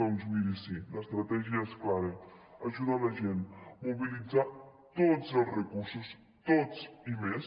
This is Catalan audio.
doncs miri sí l’estratègia és clara ajudar la gent mobilitzar tots els recursos tots i més